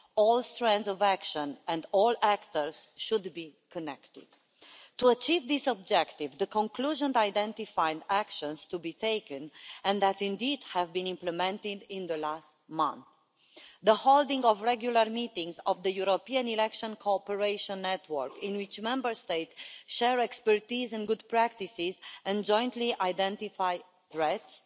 All strands of action and all actors should be connected. To achieve this objective, the conclusions identified actions to be taken and which, indeed, have been implemented in the last month the holding of regular meetings of the European election cooperation network, in which Member States share expertise and good practices and jointly identify threats